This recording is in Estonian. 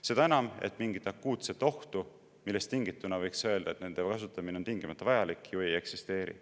Seda enam, et mingit akuutset ohtu, millest tingituna võiks öelda, et nende kasutamine on tingimata vajalik, ju ei eksisteeri.